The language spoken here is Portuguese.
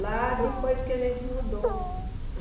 Lá depois que a gente mudou.